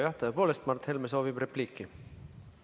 Jah, tõepoolest, Mart Helme soovib repliiki.